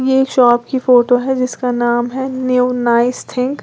ये शॉप की फोटो है जिसका नाम है न्यू नाइस थिंक ।